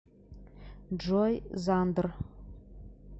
джой зандр